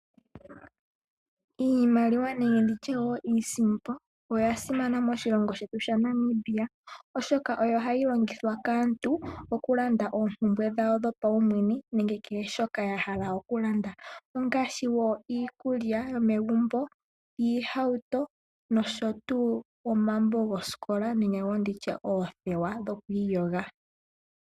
Iimaliwa nenge iisimpo oyasimana moshilongo shetu shaNamibia oshoka ohayi longithwa kaantu okulanda oompumbwe dhawo dhapaumwene nenge kehe shoka yahala okulanda, ngaashi iikulya yomegumbo, oohauto, omambo goosikola nenge oothewa.